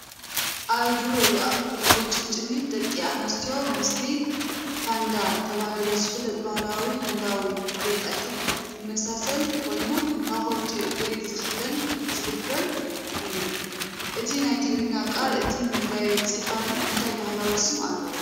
ኣብ እግሪ ወይ ቁርጭምጭሚት ደቂ ኣንስትዮ ምስቲ "ፓንዳ" ተባሂሉ ዝፍለጥ ባህላዊ ህንዳዊ ጌጣጌጥ ዝመሳሰል ኮይኑ ኣብ ክልቲኡ እግሪ ዝኽደን/ዝግበር እዩ። እቲ ናይ ትግርኛ ቃል እቲ መጋየፂ ካልእ እንታይ ባህላዊ ስም ኣለዎ?